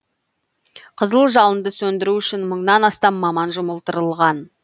қызыл жалынды сөндіру үшін мыңнан астам маман жұмылдырылған